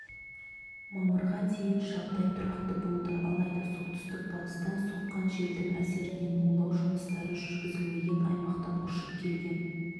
мамырға дейін жағдай тұрақты болды алайда солтүстік-батыстан соққан желдің әсерінен улау жұмыстары жүргізілмеген аймақтан ұшып келген